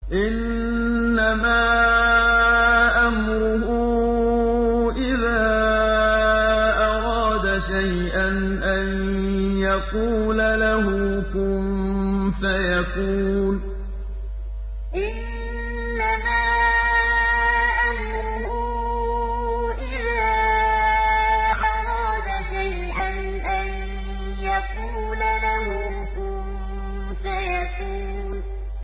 إِنَّمَا أَمْرُهُ إِذَا أَرَادَ شَيْئًا أَن يَقُولَ لَهُ كُن فَيَكُونُ إِنَّمَا أَمْرُهُ إِذَا أَرَادَ شَيْئًا أَن يَقُولَ لَهُ كُن فَيَكُونُ